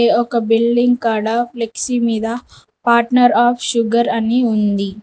ఇది ఒక బిల్డింగ్ కాడ ఫ్లెక్సీ మీద పార్ట్నర్ ఆఫ్ షుగర్ అని ఉంది.